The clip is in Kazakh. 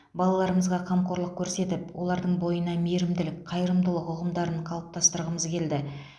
балаларымызға қамқорлық көрсетіп олардың бойына мейірімділік қайырымдылық ұғымдарын қалыптастырғымыз келді